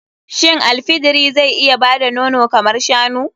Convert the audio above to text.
Shin al fidiri zai iya bada nono kamar shanu?